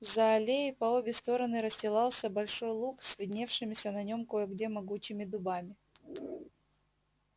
за аллеей по обе стороны расстилался большой луг с видневшимися на нем кое где могучими дубами